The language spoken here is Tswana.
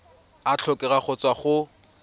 a tlhokega go tswa go